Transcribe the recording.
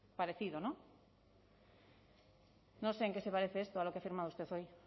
parecido no no sé en qué se parece esto a lo que ha firmado usted hoy